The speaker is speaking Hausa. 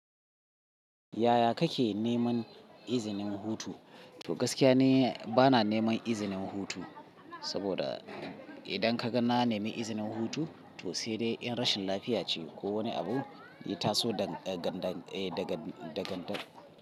Yaya kake neman izinin hutu? To gaskiya ni bana neman izinin hutu, saboda idan ka gan na nemi izinin hutu to sai dai in rashin lafiya ce ko wani abu ya taso da ganda daga d.